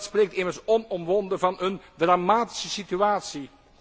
Dat spreekt immers onomwonden van een dramatische situatie.